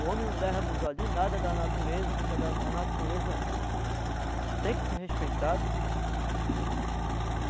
O homem não deve abusar de nada da natureza, porque a natureza tem que ser respeitada.